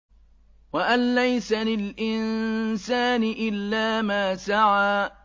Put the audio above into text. وَأَن لَّيْسَ لِلْإِنسَانِ إِلَّا مَا سَعَىٰ